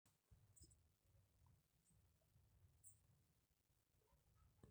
amaa oloikembe keiwuagieki tenasapuku ayaa emukunta enye